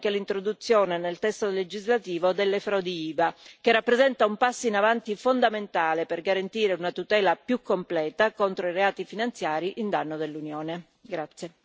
Particolarmente importante come è stato detto è anche l'introduzione nel testo legislativo delle frodi IVA, che rappresenta un passo in avanti fondamentale per garantire una tutela più completa contro i reati finanziari a danno dell'Unione.